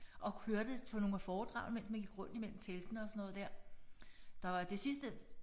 Og hørte på nogle af foredragene mens man gik rundt i mellem teltene og sådan noget der. Der var det sidste